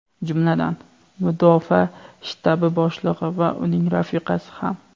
jumladan Mudofaa shtabi boshlig‘i va uning rafiqasi ham.